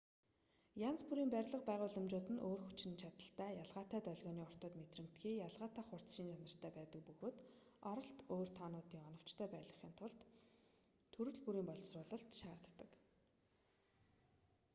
янз бүрийн барилга байгууламжууд нь өөр хүчин чадалтай ялгаатай долгионы уртад мэдрэмтгий ялгаатай хурц шинж чанартай байдаг бөгөөд оролт өөр тоонуудыг оновчтой байлгахын тулд төрөл бүрийн боловсруулалт шаардагддаг